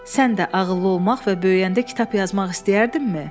Sən də ağıllı olmaq və böyüyəndə kitab yazmaq istəyərdinmi?